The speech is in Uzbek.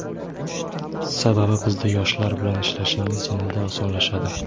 Sababi bizda yoshlar bilan ishlashingiz yanada osonlashadi.